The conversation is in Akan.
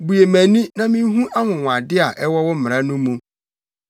Bue mʼani na minhu anwonwade a ɛwɔ wo mmara no mu.